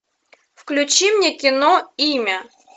включи мне кино имя